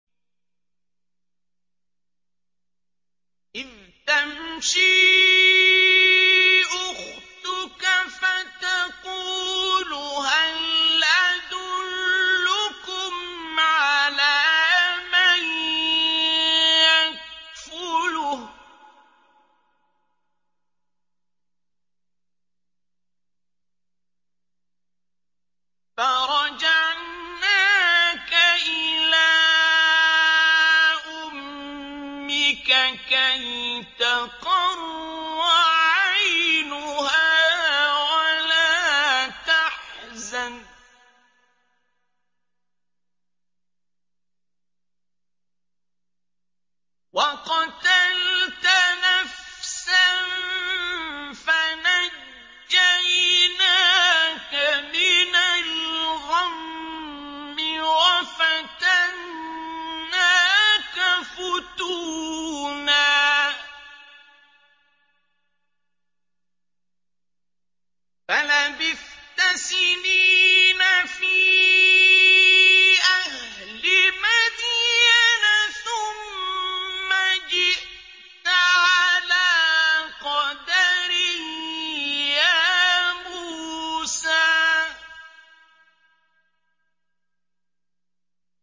إِذْ تَمْشِي أُخْتُكَ فَتَقُولُ هَلْ أَدُلُّكُمْ عَلَىٰ مَن يَكْفُلُهُ ۖ فَرَجَعْنَاكَ إِلَىٰ أُمِّكَ كَيْ تَقَرَّ عَيْنُهَا وَلَا تَحْزَنَ ۚ وَقَتَلْتَ نَفْسًا فَنَجَّيْنَاكَ مِنَ الْغَمِّ وَفَتَنَّاكَ فُتُونًا ۚ فَلَبِثْتَ سِنِينَ فِي أَهْلِ مَدْيَنَ ثُمَّ جِئْتَ عَلَىٰ قَدَرٍ يَا مُوسَىٰ